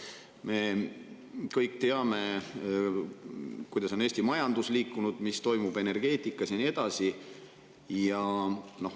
Me kõik teame, kuidas on Eesti majandus liikunud, mis toimub energeetikas ja nii edasi.